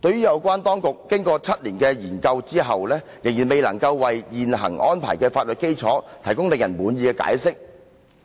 有關當局經過7年的研究後，仍未能為現行安排的法律基礎提供令人滿意的解釋。